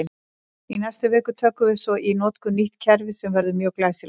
Í næstu viku tökum við svo í notkun nýtt kerfi sem verður mjög glæsilegt!